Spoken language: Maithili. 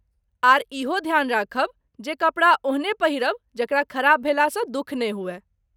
आर, इहो ध्यान राखब जे कपड़ा ओहने पहिरब जकरा खराब भेलासँ दुख नहि होवै।